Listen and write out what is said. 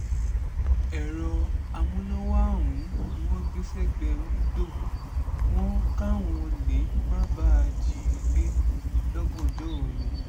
èrò amúnáwá ọ̀hún ni wọ́n gbé sẹ́gbẹ̀ẹ́ wíńdò wọn káwọn olè má bàa jí i gbé lọ́gànjọ́ òru